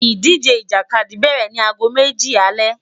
Idije Ijakadi bẹrẹ ni aago meji alẹ